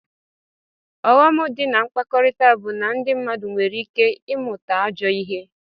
Ọghọm di na mkpakọrita bu na ndi mmadu nwere ike imụta ajọ ihe.